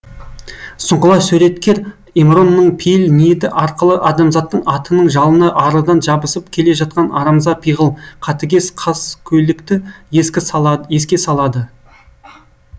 сұңғыла суреткер емронның пейіл ниеті арқылы адамзаттың атының жалына арыдан жабысып келе жатқан арамза пиғыл қатыгез қаскөйлікті еске салады